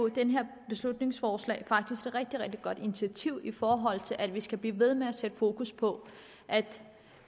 det her beslutningsforslag faktisk et rigtig rigtig godt initiativ i forhold til at vi skal blive ved med at sætte fokus på at